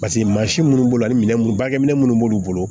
Paseke maa si minnu b'o la ni minɛn minnu bakɛ minɛn minnu b'olu bolo